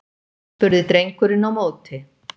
spurði drengurinn á móti.